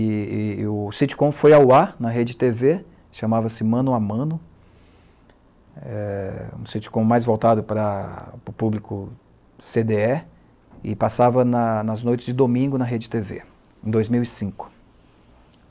E e e o sitcom foi ao ar na rede tê vê, chamava-se Mano a Mano, é, um sitcom mais voltado para para o público cê dê é, e passava nas nas noites de domingo na rede tê vê, em dois mil e cinco.